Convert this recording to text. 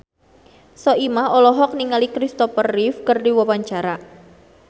Soimah olohok ningali Christopher Reeve keur diwawancara